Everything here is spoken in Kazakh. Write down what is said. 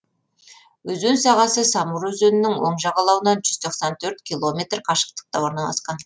өзен сағасы самур өзенінің оң жағалауынан жүз тоқсан төрт километр қашықтықта орналасқан